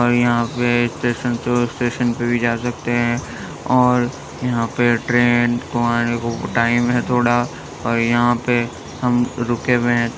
और यहाँ पे (पर) इस स्टेशन से उस स्टेशन पे (पर) भी जा सकते हैं और यहाँ पे (पर) ट्रैन को आने को टाइम है थोड़ा और यहाँ पे (पर) हम रूके हुए हैं।